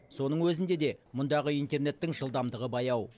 соның өзінде де мұндағы интернеттің жылдамдығы баяу